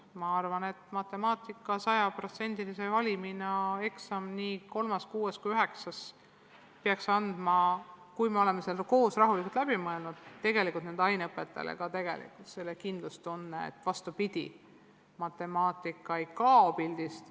Ma arvan, et matemaatika sajaprotsendise valimi eksam nii 3., 6. kui ka 9. klassis peaks andma, kui me oleme selle koos rahulikult läbi mõelnud, ka aineõpetajatele kindlustunde, et matemaatika ei kao pildist.